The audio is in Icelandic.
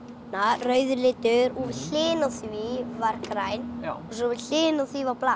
rauður litur og við hliðina á því var grænn svo við hliðina á því var blátt